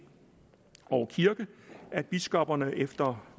og kirke at biskopperne efter